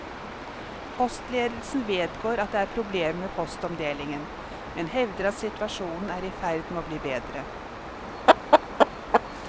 Postledelsen vedgår at det er problemer med postomdelingen, men hevder at situasjonen er i ferd med å bli bedre.